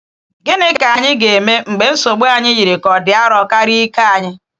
Gịnị ka anyị ga-eme mgbe nsogbu anyị yiri ka ọ dị arọ karịa ike anyị?